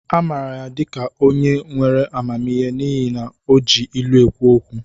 A maara ya dị ka onye nwere amamihe n'ihi na o ji ilu ekwu okwu